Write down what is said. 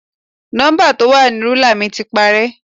Nọ́ḿbà tó wà ní rúlà mi ti parẹ́.